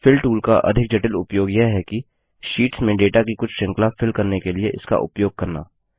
fill tool का अधिक जटिल उपयोग यह है कि शीट्स में डेटा की कुछ श्रृंखला फिल करने के लिए इसका उपयोग करना